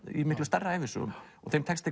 í miklu stærri ævisögum og þeim tekst